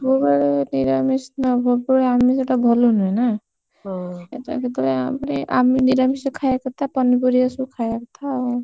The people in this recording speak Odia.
ସବୁବେଳେ ନିରାମିଷ ସବୁବେଳେ ଆମିଷ ଟା ଭଲ ନୁହେଁ ନା, କେତେବେଳେ, କେତେବେଳେ ମାନେ ନିରାମିଷ ଖାଇବା କଥା, ପନିପରିବା ସବୁ ଖାଇବା କଥା ଆଉ।